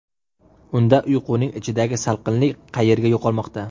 Unda uyning ichidagi salqinlik qayerga yo‘qolmoqda?